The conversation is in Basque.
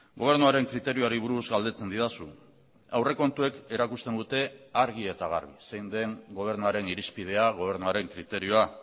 gobernuaren kriterioari buruz galdetzen didazu aurrekontuek erakusten dute argi eta garbi zein den gobernuaren irizpidea gobernuaren kriterioa